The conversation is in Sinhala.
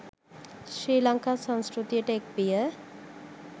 ශ්‍රී ලංකා සංස්කෘතියට එක් විය.